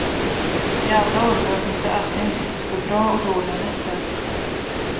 I alla åldrar finns det alltid en risk för bra och dåliga nätter.